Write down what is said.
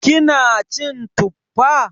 Kina cin Tuffa?